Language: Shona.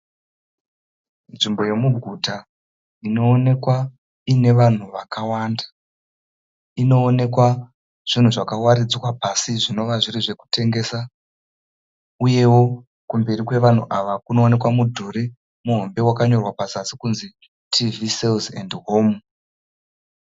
Nzvimbo yomuguta inoonekwa ine vanhu vakawanda. Inoonekwa zvinhu zvakawaridzwa zvinova zviri zvokutengesa uyewo kumberi kwevanhu ava kunoonekwa mudhuri muhombe wakanyorwa pazasi kunzi TV sales and Home.